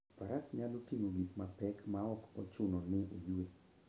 Faras nyalo ting'o gik mapek maok ochuno ni oyue.